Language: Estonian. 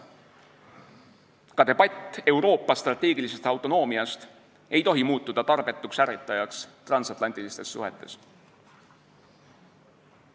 Ka debatt Euroopa strateegilise autonoomia üle ei tohi muutuda tarbetuks ärritajaks transatlantilistes suhetes.